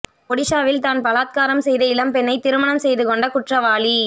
ஒடிஷாவில் தான் பலாத்காரம் செய்த இளம்பெண்ணை திருமணம் செய்து கொண்ட குற்றவாளி